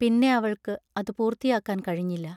പിന്നെ അവൾക്ക് അതു പൂർത്തിയാക്കാൻ കഴിഞ്ഞില്ല.